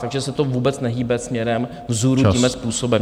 Takže se to vůbec nehýbe směrem vzhůru tímhle způsobem.